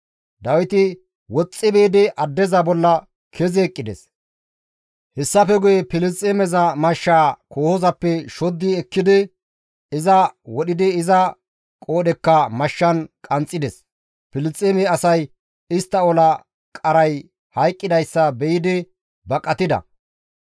Dawiti woxxi biidi addeza bolla kezi eqqides; hessafe guye Filisxeemeza mashshaa kohozappe shoddi ekkidi iza wodhidi iza qoodhekka mashshan qanxxides ; Filisxeeme asay istta ola qaray hayqqidayssa be7idi baqatida.